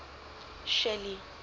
shelly